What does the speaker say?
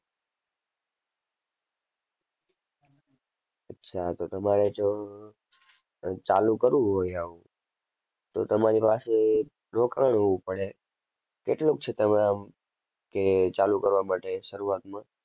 અચ્છા તો તમારે જો અર ચાલુ કરવું હોય આવું તો તમારી પાસે રોકાણ હોવું પડે. કેટલુંક છે તમે આમ કે ચાલુ કરવા માટે શરૂઆતમાં?